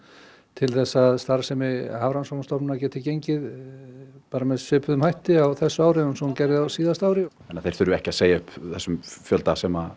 til þess að starfsemi Hafrannsóknastofnunar geti gengið með svipuðum hætti á þessu ári og hún gerði á síðasta ári þannig að þeir þurfi ekki að segja upp þessum fjölda sem